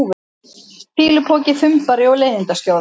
fýlupoki, þumbari og leiðindaskjóða?